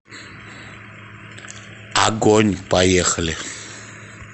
агонь поехали